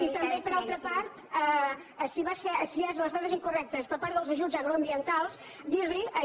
i també per altra part si són les dades incorrectes per part dels ajuts agroambientals dir li